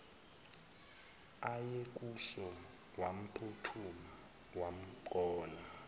ayekuso wamphuthuma wamgona